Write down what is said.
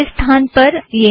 इस स्थान पर यह है